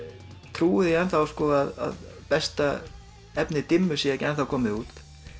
trúi að besta efni dimmu sé ekki ennþá komið út